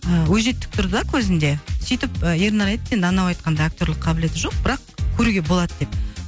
ыыы өжеттік тұр да көзінде сөйтіп ернар айтты енді анау айтқандай актерлік қабілет жоқ бірақ көруге болады деп